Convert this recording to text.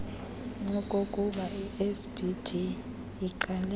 okokubai sgb iqale